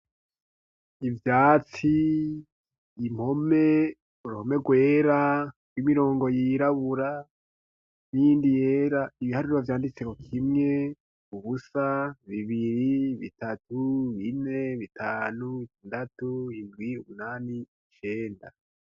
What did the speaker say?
Ivyatsi impome uruhome rwera rw'imirongo yirabura niyindi yera ibihariro vyanditse ko kimwe, ubusa, bibiri, bitatu, bine, bitanu, bitandatu, indwi, umunani icenda.